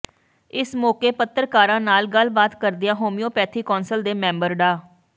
ਇਸ ਮੌਕੇ ਪੱਤਰਕਾਰਾਂ ਨਾਲ ਗੱਲਬਾਤ ਕਰਦਿਆਂ ਹੋਮਿਓਪੈਥੀ ਕੌਂਸਲ ਦੇ ਮੈਂਬਰ ਡਾ